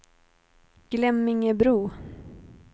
Glemmingebro